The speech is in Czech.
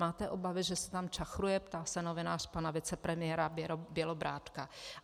Máte obavy, že se tam čachruje?" ptá se novinář pana vicepremiéra Bělobrádka.